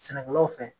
Sɛnɛkɛlaw fɛ